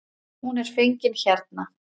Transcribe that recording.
Hún er fengin hérna.